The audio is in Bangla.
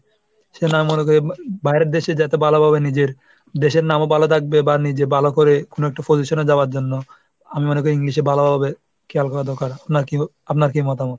সেজন্যই আমি মনে করি বাইরের দেশে যাতে ভালোভাবে নিজের দেশের নামও ভালো থাকবে বা নিজে ভালো করে কোন একটা position এ যাওয়ার জন্য আমি মনে করি english এ ভালো হবে খেয়াল করা দরকার। নাকি আপনার কি মতামত?